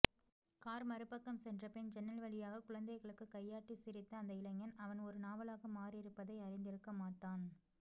car மறுபக்கம் சென்றபின் சன்னல்வழியாக குழந்தைகளுக்குக் கையாட்டிச் சிரித்த அந்த இளைஞன் அவன் ஒருநாவலாக மாறியிருப்பதை அறிந்திருக்கமாட்டான்